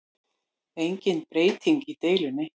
Engin breyting í deilunni